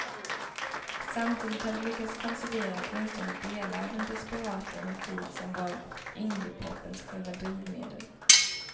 Samtidigt har de lyckats konservera åtminstone delar av den desperata energi som var indiepopens själva drivmedel.